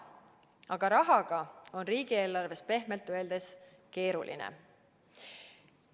Aga rahaga on riigieelarves pehmelt öeldes keeruline.